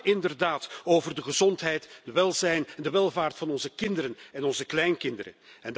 Het gaat inderdaad over de gezondheid, het welzijn en de welvaart van onze kinderen en onze kleinkinderen.